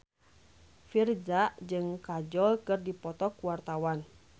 Virzha jeung Kajol keur dipoto ku wartawan